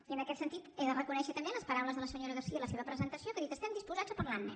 i en aquest sentit he de reconèixer també les paraules de la senyora garcía a la seva presentació que ha dit estem disposats a parlar ne